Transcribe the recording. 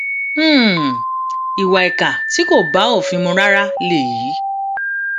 um ìwà ìkà tí kò bá òfin mu rárá lèyí